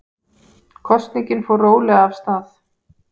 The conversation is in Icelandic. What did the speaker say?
Kosningin fór rólega af stað